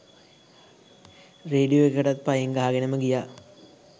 radio එකටත් පයින් ගහගෙනම ගියා